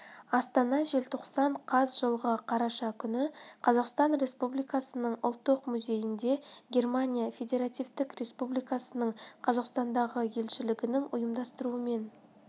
астана желтоқсан қаз жылғы қараша күні қазақстан республикасының ұлттық музейінде германия федеративтік республикасының қазақстандағы елшілігінің ұйымдастыруымен